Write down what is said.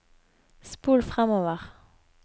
spol framover